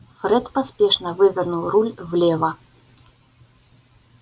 фред поспешно вывернул руль влево